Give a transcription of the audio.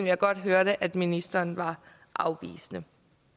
jeg godt hørte at ministeren var afvisende